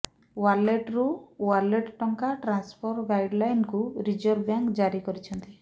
ୱାଲେଟ୍ରୁ ୱାଲେଟ୍ ଟଙ୍କା ଟ୍ରାନ୍ସଫର୍ର ଗାଇଡ୍ଲାଇନ୍କୁ ରିଜର୍ଭ ବ୍ୟାଙ୍କ ଜାରି କରିଛନ୍ତି